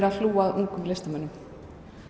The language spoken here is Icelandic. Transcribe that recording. að hlúa að ungum listamönnum